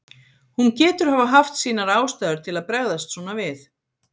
Hún getur hafa haft sínar ástæður til að bregðast svona við.